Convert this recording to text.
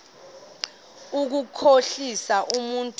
ukukhohlisa umntu omazi